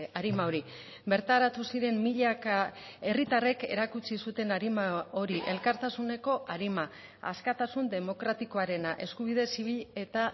arima hori bertaratu ziren milaka herritarrek erakutsi zuten arima hori elkartasuneko arima askatasun demokratikoarena eskubide zibil eta